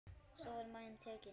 Svo var maginn tekinn.